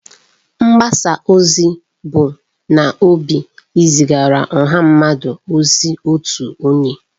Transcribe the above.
Mgbasa ozi bu n'obi izigara ọha mmadụ ozi otu onye.